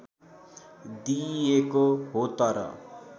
दिइएको हो तर